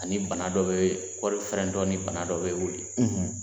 Ani bana dɔ bɛ kɔɔri fana ni bana dɔ bɛ wuli